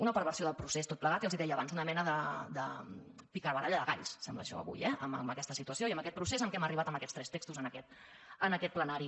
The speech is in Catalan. una perversió del procés tot plegat i els ho deia abans una mena de picabaralla de galls sembla això avui eh amb aquesta situació i amb aquest procés a què hem arribat amb aquests tres textos en aquest ple·nari